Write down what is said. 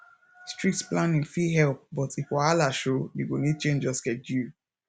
strict planning fit help but if wahala show you go need change your schedule